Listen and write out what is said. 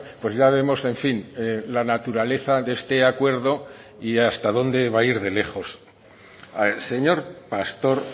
pues ya vemos en fin la naturaleza de este acuerdo y hasta donde va ir de lejos señor pastor